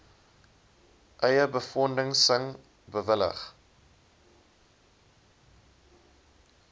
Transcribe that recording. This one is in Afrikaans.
eie befondsing bewillig